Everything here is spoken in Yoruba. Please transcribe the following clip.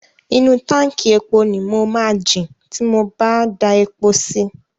Inú táǹkì epo ni mo máa jin ti mo bá da epo si.